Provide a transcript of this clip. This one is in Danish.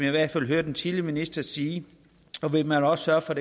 i hvert fald hørte den tidligere minister sige og vil man også sørge for